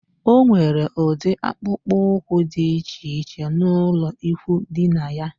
O nwere udi akpukpu úkwú dị iche iche n'ulo ikwụ dina yá